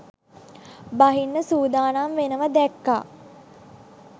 බහින්න සූදානම් වෙනවා දැක්‌කා.